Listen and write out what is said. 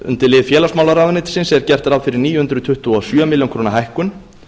undir lið félagsmálaráðuneytisins er gert ráð fyrir níu hundruð tuttugu og sjö ár hækkun